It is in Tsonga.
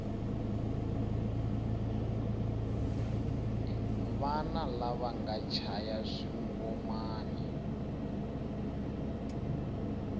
vana lava va chaya swingomani